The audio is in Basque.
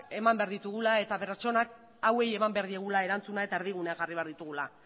eman behar ditugula eta pertsona hauei eman behar diegula erantzuna eta erdigunea jarri behar ditugula